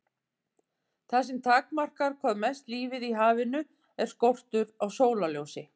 Það sem takmarkar hvað mest lífið í hafinu er skortur á sólarljósi.